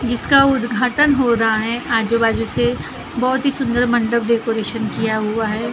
जिसका उद्धातन हो रहा है आजो बाजु से बहुती सुन्दर मंडब डेकोरिशन किया हुआ है ।